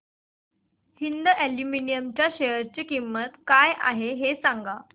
Hind aluminium च्या share ची किंमत काय आहे हे सांगा